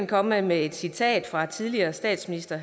komme med et citat fra den tidligere statsminister